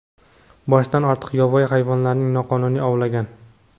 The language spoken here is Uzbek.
boshdan ortiq yovvoyi hayvonlarning noqonuniy ovlangan.